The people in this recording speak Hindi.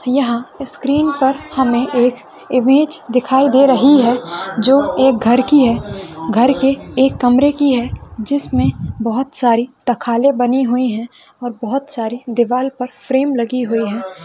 यहाँ इस स्क्रीन पर हमे एक इमेज दिखाई दे रही है जो एक घर की हैं घर के एक कमरे की है जिसमे बहुत सारी तखाले बने हुए है और बहुत सारे दीवाल पर फ्रेम लगे हुए हैं।